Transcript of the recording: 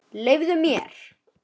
Leyfðu mér!